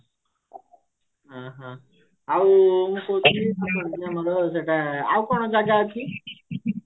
ଓ ହୋ ଆଉ ଆଉ କଣ ଜାଗା ଅଛି